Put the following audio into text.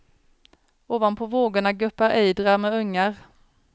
Ovanpå vågorna guppar ejdrar med ungar.